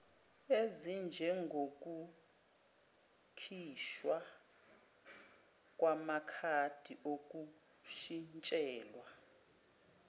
ezinjengokukhishwa kwamakhadi okushintshelwa